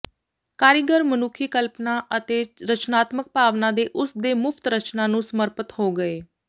ਕਾਰੀਗਰ ਮਨੁੱਖੀ ਕਲਪਨਾ ਅਤੇ ਰਚਨਾਤਮਕ ਭਾਵਨਾ ਦੇ ਉਸ ਦੇ ਮੁਫ਼ਤ ਰਚਨਾ ਨੂੰ ਸਮਰਪਿਤ ਹੋ ਗਏ